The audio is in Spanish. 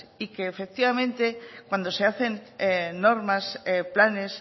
y que efectivamente cuando se hacen normas planes